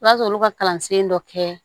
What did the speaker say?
O b'a sɔrɔ olu ka kalansen dɔ kɛ